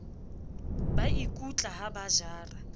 ba ikutla ha ba jara